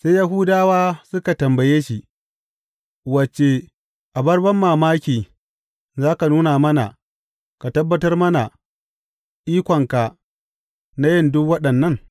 Sai Yahudawa suka tambaye shi, Wace abar banmamaki za ka nuna mana ka tabbatar mana ikonka na yin duk waɗannan?